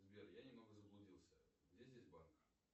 сбер я немного заблудился где здесь банк